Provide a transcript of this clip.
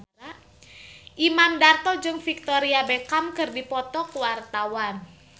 Imam Darto jeung Victoria Beckham keur dipoto ku wartawan